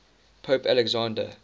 pope alexander